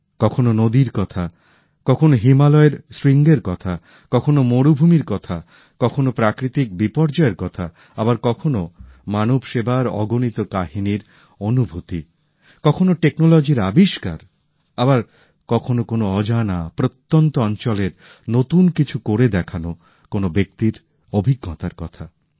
কখনও নদীর কথা কখনো হিমালয়ের শৃঙ্গের কথা কখনো মরুভূমির কথা কখনো প্রাকৃতিক বিপর্যয়ের কথা আবার কখনো মানবসেবার অগণিত কাহিনীর অনুভূতি কখনো প্রযুক্তির আবিষ্কার আবার কখনো কোন অজানা প্রত্যন্ত অঞ্চলের নতুন কিছু করে দেখানো কোন ব্যক্তির অভিজ্ঞতার কথা